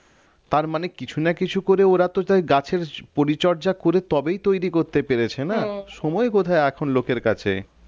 তার মানে কিছু না কিছু করে ওরা তো গাছের পরিচর্যা করে তবেই তৈরি করতে পেরেছে না সময় কোথায় এখন লোকের কাছে